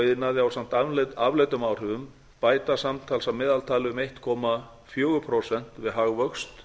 iðnaði ásamt afleiddum áhrifum bæta samtals að meðaltali um einn komma fjögur prósent við hagvöxt